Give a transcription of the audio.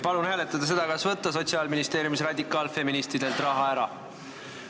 Palun hääletada seda, kas võtta Sotsiaalministeeriumis radikaalfeministidelt raha ära!